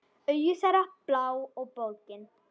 Augu þeirra blá og bólgin.